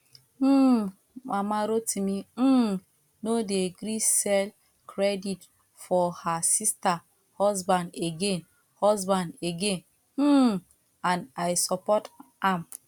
um mama rotimi um no dey gree sell credit for her sister husband again husband again um and i support am